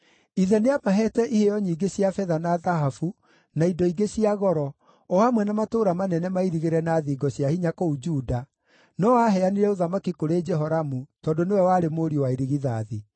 Ithe nĩamaheete iheo nyingĩ cia betha na thahabu na indo ingĩ cia goro, o hamwe na matũũra manene mairigĩre na thingo cia hinya kũu Juda, no aaheanire ũthamaki kũrĩ Jehoramu tondũ nĩwe warĩ mũriũ wa irigithathi.